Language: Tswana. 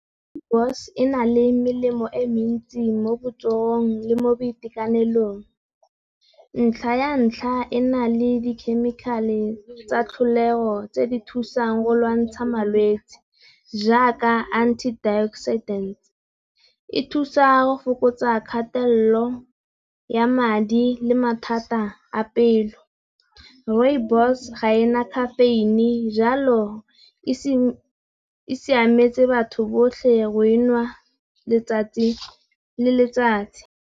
Rooibos e na le melemo e mentsi mo botsogong le mo boitekanelong. Ntlha ya ntlha e na le dikhemikhale tsa tlholego tse di thusang go lwantsha malwetsi jaaka antioxidant. E thusa go fokotsa kgatelelo ya madi le mathata a pelo, Rooibos ga ena khafeine jalo e siametse batho botlhe go enwa letsatsi le letsatsi.